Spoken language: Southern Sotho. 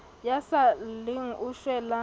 ya sa lleng o shwela